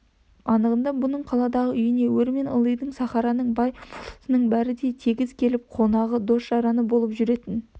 анығында бұның қаладағы үйіне өр мен ылдидың сахараның бай болысының бәрі де тегіс келіп қонағы дос-жараны болып жүретін